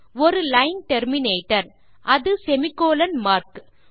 ஒரு line terminator அது semicolon mark